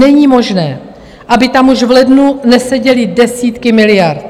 Není možné, aby tam už v lednu neseděly desítky miliard.